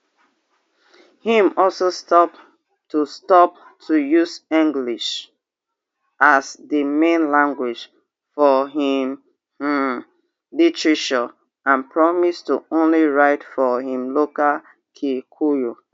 im also stop to stop to use english as di main language for im um literature and promise to only write for im local kikuyu